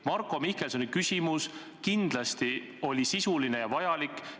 Marko Mihkelsoni küsimus kindlasti oli sisuline ja tähtis.